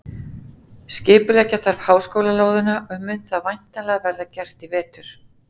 Skipuleggja þarf háskólalóðina og mun það væntanlega verða gert í vetur.